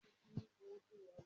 Mo máa dín pọfpọf ní ọ̀la